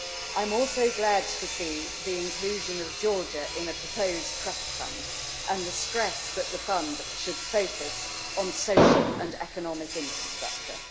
I'm also glad to see the inclusion of Georgia in a proposed Trust Fund, and the stress that the fund should focus on social and economic infrastructure.